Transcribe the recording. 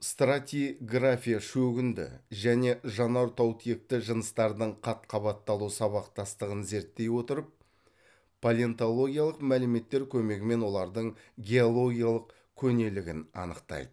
стратиграфия шөгінді және жанартаутекті жыныстардың қат қабатталу сабақтастығын зерттей отырып палеонтологиялық мәліметтер көмегімен олардың геологиялық көнелігін анықтайды